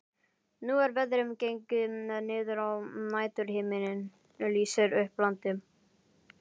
Nú er veðrið gengið niður og næturhiminninn lýsir upp landið.